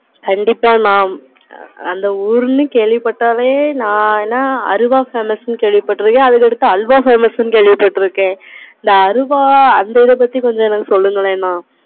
கண்டிப்பா mam அந்த ஊருல கேள்வி பட்டாலே நா என்ன அருவா famous இன்னு கேள்வி பாத்துருக்கேன். அதுக்கு அப்பறம் அல்வா famous இன்னு கேள்வி பாத்துருக்கேன். இந்த அருவா அந்த இத பத்தி கொஞ்சம் சொல்லுங்க mam